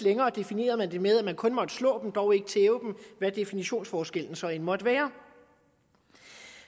længere definerede man det med at man kun måtte slå dem dog ikke tæve dem hvad definitionsforskellen så end måtte være